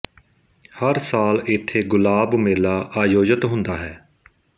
ਹਰ ਸਾਲ ਇੱਥੇ ਗੁਲਾਬ ਮੇਲਾ ਆਯੋਜਿਤ ਹੁੰਦਾ ਹੈ